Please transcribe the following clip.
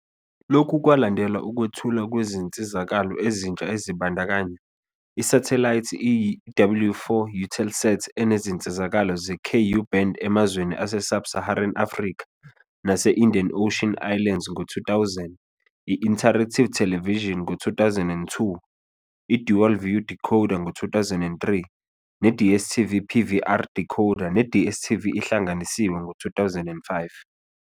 Lokhu kwalandelwa ukwethulwa kwezinsizakalo ezintsha ezibandakanya- Isathelayithi i-W4 Eutelsat enezinsizakalo ze-Ku-band emazweni ase-sub-Saharan Africa nase-Indian Ocean Islands ngo-2000, i-Interactive Television ngo-2002, i-Dual View decoder ngo-2003, ne-DStv PVR decoder ne-DStv Ihlanganisiwe ngo-2005.